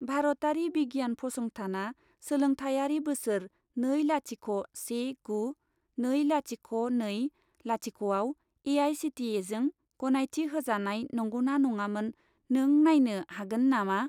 भारतारि बिगियान फसंथानआ सोलोंथायारि बोसोर नै लाथिख' से गु नै लाथिख' नै लाथिख' आव ए.आइ.सि.टि.इ.जों गनायथि होजानाय नंगौना नङामोन, नों नायनो हागोन नामा?